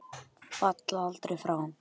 Falla aldrei frá.